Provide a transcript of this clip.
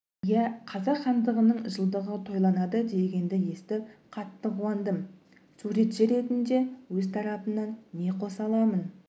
иә қазақ хандығының жылдығы тойланады дегенді естіп қатты қуандым суретші ретінде өз тарапымнан не қоса аламын